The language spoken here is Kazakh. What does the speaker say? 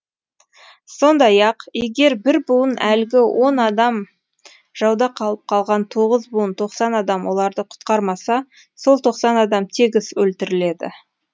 сондай ақ егер бір буын әлгі он адам жауда қалып қалған тоғыз буын тоқсан адам оларды құтқармаса сол тоқсан адам тегіс өлтіріледі